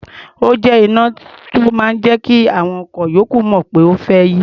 Ó jẹ́ iná tó máa ń jẹ́ kí àwọn awakọ̀ ìyókù mọ̀ pé o fẹ́ yí.